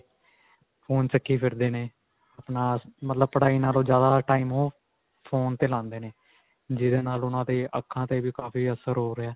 phone ਚੁੱਕੀ ਫਿਰਦੇ ਨੇ. ਆਪਣਾ ਮਤਲਬ ਪੜਾਈ ਨਾਲੋਂ ਜਿਆਦਾ time ਉਹ phone ਤੇ ਲਾਉਂਦੇ ਨੇ, ਜਿਦੇ ਨਾਲ ਉਨ੍ਹਾਂ ਦੇ ਅੱਖਾਂ ਤੇ ਵੀ ਕਾਫੀ ਅਸਰ ਹੋ ਰਿਹਾ.